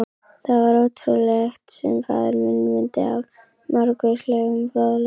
Það var ótrúlegt, sem faðir minn mundi af margvíslegum fróðleik.